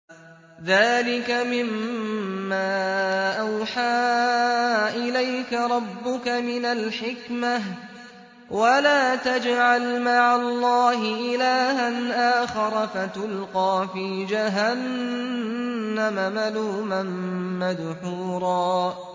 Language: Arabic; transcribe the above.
ذَٰلِكَ مِمَّا أَوْحَىٰ إِلَيْكَ رَبُّكَ مِنَ الْحِكْمَةِ ۗ وَلَا تَجْعَلْ مَعَ اللَّهِ إِلَٰهًا آخَرَ فَتُلْقَىٰ فِي جَهَنَّمَ مَلُومًا مَّدْحُورًا